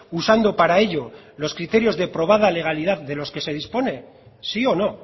usando para ello los criterios de probada legalidad delos que se dispone sí o no